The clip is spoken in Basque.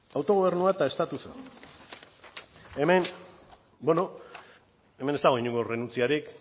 autogobernua eta estatusa hemen bueno hemen ez dago inongo errenuntziarik